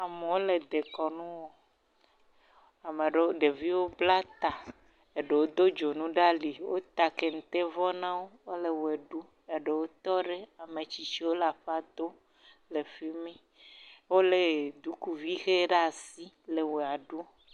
Amewo le dekɔnu wɔm. Ame aɖewo ɖeviwo bla ta. Eɖewo do dzonuwo ɖe ali. Wota ketevɔ na wo wole ʋe ɖum eɖewo tɔ ɖi. Ame tsitsiwo le aƒa dom le fi mi.